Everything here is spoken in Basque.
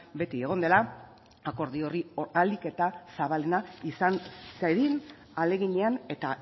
beti egon dela akordio hori ahalik eta zabalena izan zedin ahaleginean eta